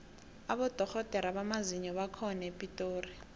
abodorhodere bamazinyo bakhona epitori